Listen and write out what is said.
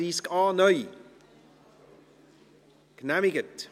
Liebe Kolleginnen und Kollegen.